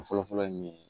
Fɔlɔfɔlɔ ye mun ye